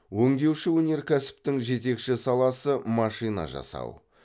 өңдеуші өнеркәсіптің жетекші саласы машина жасау